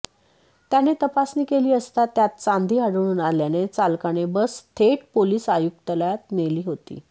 त्याने तपासणी केली असता त्यात चांदी आढळून आल्याने चालकाने बस थेट पोलीस आयुक्तालयात नेली होती